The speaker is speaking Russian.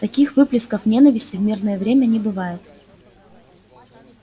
таких выплесков ненависти в мирное время не бывает